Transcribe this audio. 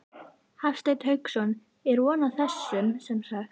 Hafsteinn Hauksson: Er von á þeim semsagt?